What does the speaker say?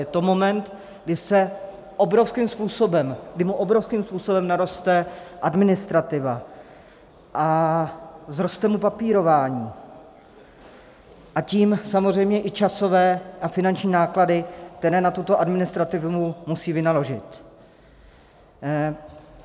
Je to moment, kdy mu obrovským způsobem naroste administrativa a vzroste mu papírování, a tím samozřejmě i časové a finanční náklady, které na tuto administrativu musí vynaložit.